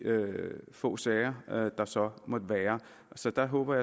få sager der så måtte være så der håber